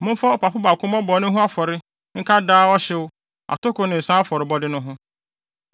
Momfa ɔpapo baako mmɔ bɔne ho afɔrebɔ nka daa ɔhyew, atoko ne nsa afɔrebɔde no ho.